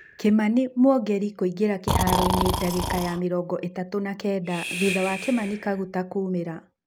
Kamani Mwongeri kũingĩra kĩharoinĩ ndagĩka ya mĩrongo itatũna kenda thutha wa Kimana Kaguta kũũmĩra.